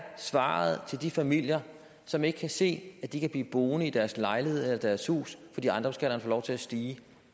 svaret til de familier som ikke kan se at de kan blive boende i deres lejlighed eller deres hus fordi ejendomsskatterne får lov til at stige